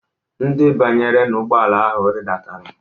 Ndị banyere n'ụgbọala ahụ ridatara.